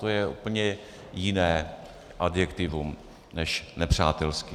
To je úplně jiné adjektivum než nepřátelský.